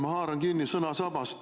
Ma haaran kinni sõnasabast.